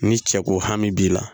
Ni cɛ ko hami b'i la